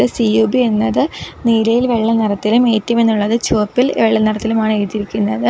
ഇത് സി_യു_ബി എന്നത് നീലയിൽ വെള്ള നിറത്തിലും എ_റ്റി_എം എന്നുള്ളത് ചുമപ്പിൽ വെള്ളനിറത്തിലും ആണ് എഴുതിയിരിക്കുന്നത്.